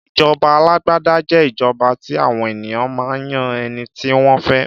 Ìjọba àlàgbàdà jẹ́ ìjọba tí àwọn ènìyàn máa ń yan ẹniti wọn fẹ.